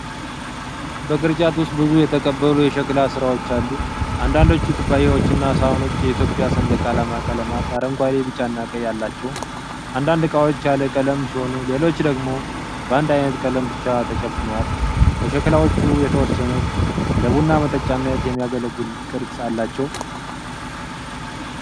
በቅርጫት ውስጥ ብዙ የተቀቡ የሸክላ ሥራዎች አሉ። አንዳንዶቹ ኩባያዎችና ሳህኖች የኢትዮጵያ ሰንደቅ ዓላማ ቀለማት -አረንጓዴ፣ ቢጫና ቀይ አላቸው። አንዳንድ እቃዎች ያለ ቀለም ሲሆኑ ሌሎቹ ደግሞ በአንድ አይነት ቀለም ብቻ ተሸፍነዋል። ከሸክላዎቹ የተወሰኑት ለቡና መጠጫነት የሚያገለግሉ ቅርጽ አላቸው።